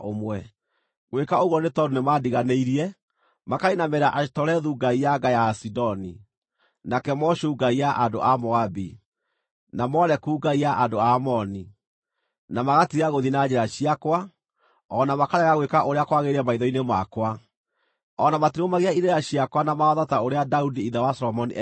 Ngwĩka ũguo, nĩ tondũ nĩmandiganĩirie, makainamĩrĩra Ashitorethu ngai ya nga ya Asidoni, na Kemoshu ngai ya andũ a Moabi, na Moleku ngai ya andũ a Amoni, na magatiga gũthiĩ na njĩra ciakwa, o na makarega gwĩka ũrĩa kwagĩrĩire maitho-inĩ makwa, o na matirũmagia irĩra ciakwa na mawatho ta ũrĩa Daudi ithe wa Solomoni ekaga.